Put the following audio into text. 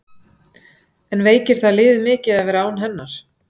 En veikir það liðið mikið að vera án hennar?